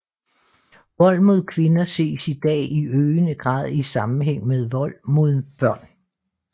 Vold mod kvinder ses i dag i øgende grad i sammenhæng med vold mod børn